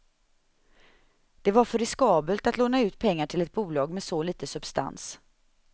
Det var för riskabelt att låna ut pengar till ett bolag med så lite substans.